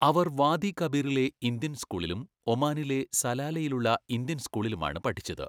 അവർ വാദി കബീറിലെ ഇന്ത്യൻ സ്കൂളിലും ഒമാനിലെ സലാലയിലുള്ള ഇന്ത്യൻ സ്കൂളിലുമാണ് പഠിച്ചത്.